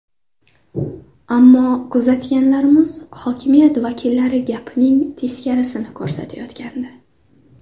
Ammo kuzatganlarimiz hokimiyat vakillari gapining teskarisini ko‘rsatayotgandi.